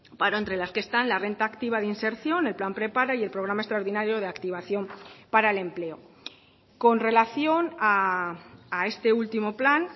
paro entre las que están la renta activa de inserción el plan prepara y el programa extraordinario de activación para el empleo con relación a este último plan